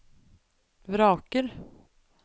vraker